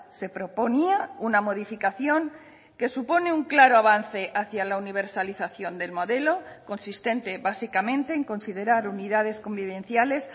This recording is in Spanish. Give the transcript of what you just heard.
se proponía una modificación que supone un claro avance hacia la universalización del modelo consistente básicamente en considerar unidades convivenciales